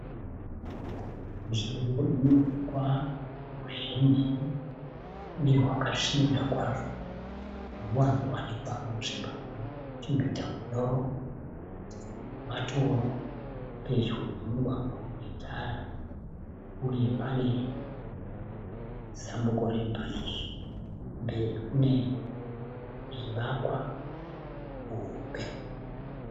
Nzvimbo ine hukwa huzhinji nehwakasvibira kwazvo. Huno wanzowanikwa munzvimbo inochengeta hunyoro nematoro. Pedyo nemugwagwa une tara uye pane zambuko rebhiriji. Mberi kune zvivakwa hombe.